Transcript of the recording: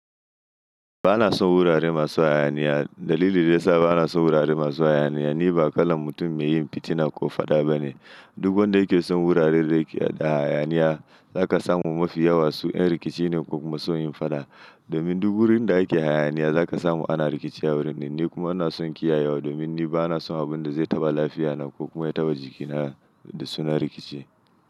Ba na son wurare masu hayaniya. Dalili da ya sa ba na son wurare masu hayaniya ni ba kalar mutum mai yin fitina ko fada bane. Duk wanda yake son wuraren da yake da hayaniya za ka samu mafi yawan su ’yan rikici ne ko kuma sun yin fada. Domin duk wurin da ake hayaniya za ka samu ana rikici a wurin din. Ni kuma ba na son kiyayewa domin ni ba na son abin da zai taɓa lafiyata ko kuma ya taɓa jikin na da sunan rikici.